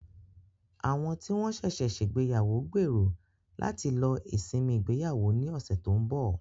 Àwọn tí wọ́n ṣẹ̀ṣẹ̀ ṣègbéyàwó gbèrò láti lọ sí ìsinmi ìgbéyàwó ní ọ̀sẹ̀ tó ń bọ̀.